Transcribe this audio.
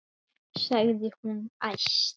sagði hún æst.